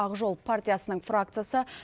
ақ жол партиясының фракциясы